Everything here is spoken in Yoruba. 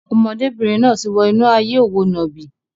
Ọmọdébìnrin náà ti wọ inú ayé òwò nàbì.